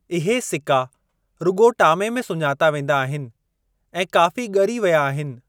इहे सिका रुॻो टामे में सुञाता वेंदा आहिनि ऐं काफ़ी ॻरी विया आहिनि।